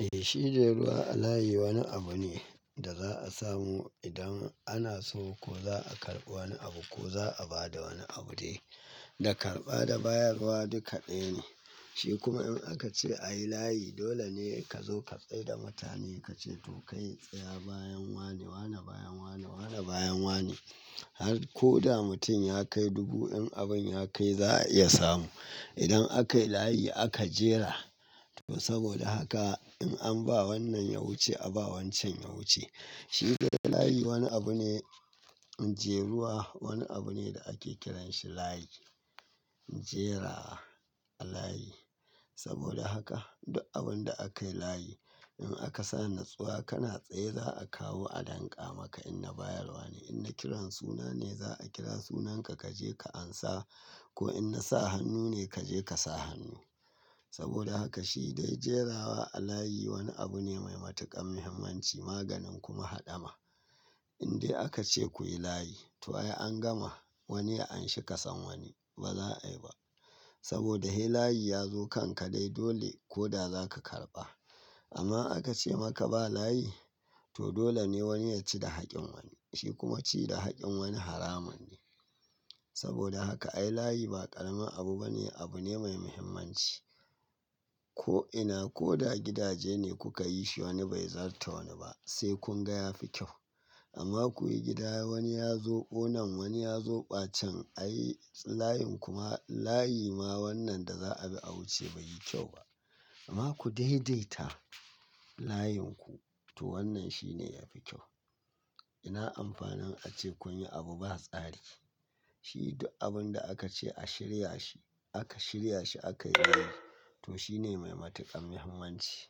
Eh, shi dai ruwa a layi wani abu ne da za a samu idan ana so ko za a karɓi wani abu ko za a ba da wani abu dai. Da karɓa da bayarwa duk ɗaya ne. Shi kuma in aka ce a yi layi, dole ne ka zo ka tsai da mutane. Ka ce to kai tsaya bayan wane, wane bayan wane, wane bayan wane. Har ko da mutum ya kai dubu, in abin ya kai za a iya samu. Idan aka yi layi aka jera. To saboda haka in an ba wannan ya wuce a ba wancan ya wuce. Shi dai layi wani abu ne, jeruwa wani abu ne da ake kiran shi layi. Jera a layi. Saboda haka duk abin da aka yi layi, in aka sa nutsuwa kana tsaye za a kawo a danƙa maka in na bayarwa ne. In na kiran suna ne za a kira sunanka ka je ka ansa ko in na sa hannu ne ka je ka sa hannu. Saboda haka shi dai jerawa a layi wani abu ne mai matuƙar muhimmanci. Maganin kuma haɗama. In dai aka ce kuyi layi to ai an gama. Wani ya anshi kasan wani. Ba za a yi ba. Saboda he layi ya zo kanka dai dole ko da za ka karɓa. Amma aka ce maka ba layi? To dole ne wani ya ci da hakkin wani. Shi kuma ci da hakkin wani haramun ne. Saboda haka a yi layi ba ƙaramin abu bane. Abu ne mai muhimmanci. Ko ina ko da gidaje ne kuka yi shi wani bai zarta wani ba. Sai kun ga ya fi kyau. Amma kuyi gida wani ya zobo nan wani ya zoɓa can ayi layin kuma layi ma wannan da za a bi a wuce bai yi kyau ba. Amma ku daidaita layin ku to wannan shi ne yafi kyau. Ina amfanin ace kun yi abu ba tsari. Shi duk abin da aka ce aka shirya shi aka shirya shi akai yayi. To shi ne mai matuƙan muhimmanci.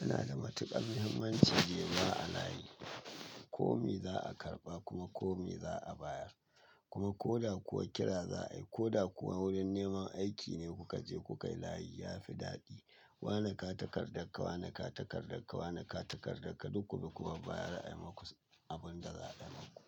Yana da matuƙan muhimmanci jeruwa a layi. Ko me za a karɓa kuma ko me za a bayar. Kuma ko da kuwa kira za a yi ko da kuwa wurin neman aiki ne kuka je kuka yi layi ya fi daɗi. Wane ga takardakka, wane ka takardakka, wane ka takardakka duk ku bi ku babbayar a yi muku abin da za a yi muku.